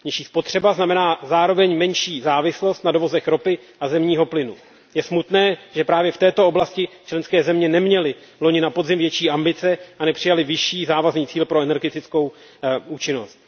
Nižší spotřeba znamená zároveň menší závislost na dovozech ropy a zemního plynu. Je smutné, že právě v této oblasti členské země neměly loni na podzim větší ambice a nepřijaly vyšší závazný cíl pro energetickou účinnost.